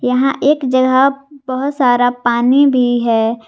यहां एक जगह बहुत सारा पानी भी है।